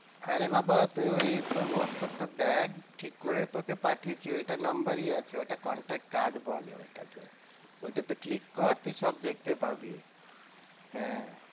আরে বাবা তুই ওই তোর হোয়াটসঅ্যাপ টা দেখ ঠিক করে, তোকে পাঠিয়েছি ওইটা number ই আছে ওইটা contact card বলে ওইটাকে ওইটাতে click কর তুই সব দেখতে পাবি হ্যাঁ